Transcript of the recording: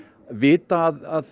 vita að